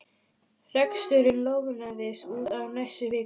Reksturinn lognaðist út af næstu vikurnar.